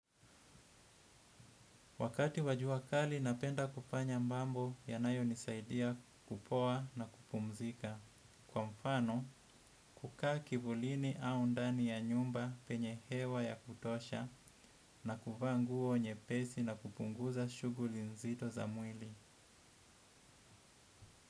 Wakati wa jua kali napenda kufanya mambo yanayonisaidia kupoa na kupumzika. Kwa mfano, kukaa kivulini au ndani ya nyumba penye hewa ya kutosha na kuvaa nguo nyepesi na kupunguza shughuli nzito za mwili.